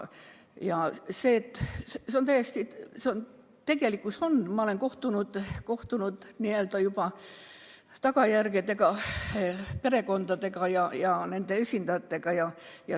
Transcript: Tõesti, ma olen näinud tagajärgi, olen kohtunud perekondade ja nende esindajatega.